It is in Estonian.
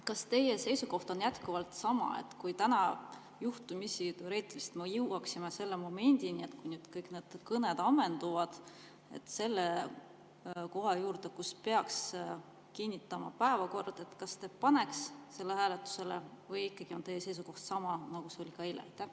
Kas teie seisukoht on jätkuvalt sama, et kui me täna juhtumisi teoreetiliselt jõuaksime selle momendini, et kõik kõned on ammendunud ja peaks kinnitama päevakorra, kas te paneks selle hääletusele või on ikkagi teie seisukoht sama, nagu see oli eile?